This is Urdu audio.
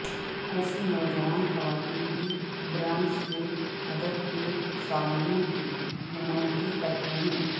ایسی نوجوان خواتین بھی برانڈ کے ہدف کے سامعین کی نمائندگی کرتے ہیں